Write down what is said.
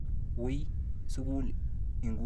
Wi sukul inguni.